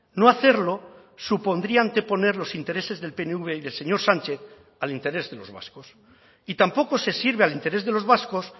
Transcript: no hacerlo supondría anteponer los intereses del pnv y del señor sánchez al interés de los vascos y tampoco se sirve al interés de los vascos